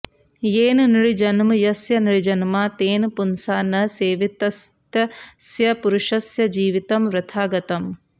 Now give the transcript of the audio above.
येन नृजन्म यस्य नृजन्मा तेन पुंसा न सेवितस्तस्य पुरुषस्य जीवितं वृथा गतम्